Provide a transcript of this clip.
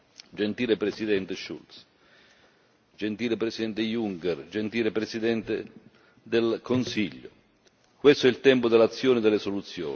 Gentile Presidente Schulz, gentile Presidente Juncker, gentile Presidente del Consiglio, questo è il tempo dell'azione e delle soluzioni.